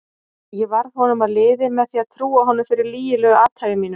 Ég varð honum að liði með því að trúa honum fyrir lygilegu athæfi mínu.